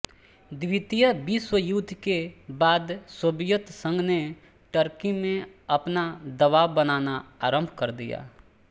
द्वितीय विश्वयुद्ध के बाद सोवियत संघ ने टर्की में अपना दबाव बनाना आरम्भ कर दिया